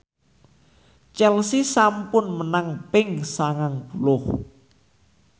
Chelsea sampun menang ping sangang puluh